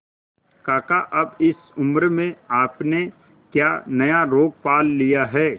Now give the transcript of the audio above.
काका अब इस उम्र में आपने क्या नया रोग पाल लिया है